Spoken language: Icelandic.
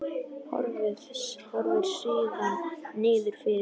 Horfir síðan niður fyrir sig.